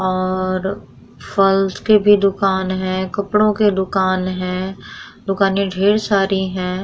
और फल्स के भी दूकान हैं कपड़ों के दूकान हैं दुकानें ढेर सारी हैं।